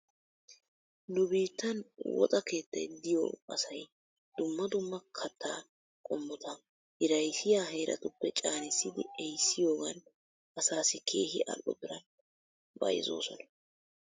Nu biittan woxa keettay diyoo asay dumma dumma kattaa qommota hiraysiyaa heeratuppe caanissidi ehissiyoogan asaassi keehi all'o biran bayzzoosona .